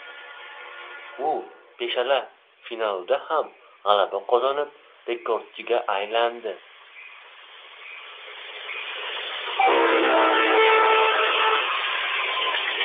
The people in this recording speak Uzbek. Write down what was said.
U beshala finalda ham g‘alaba qozonib, rekordchiga aylandi.